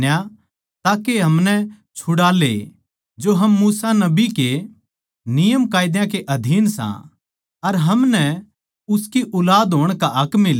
ताके हमनै छुड़ाले जो हम मूसा नबी के नियमकायदा के अधीन सां अर म्हारे ताहीं उसकी ऊलाद होण का हक मिला